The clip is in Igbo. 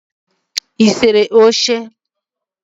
ị sere oche?